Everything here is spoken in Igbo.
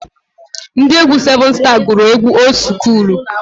Ndị egwu sevun staa gụrụ egwu old skuulu.